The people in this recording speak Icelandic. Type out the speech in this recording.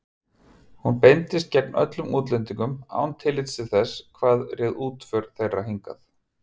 Hún beindist gegn öllum útlendingum án tillits til þess, hvað réð útför þeirra hingað.